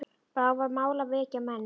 Bráðum var mál að vekja menn.